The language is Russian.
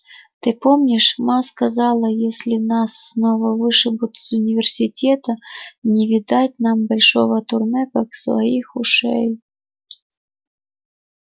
ты помнишь ма сказала если нас снова вышибут из университета не видать нам большого турне как своих ушей